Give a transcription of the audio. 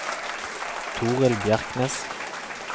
Torill Bjerknes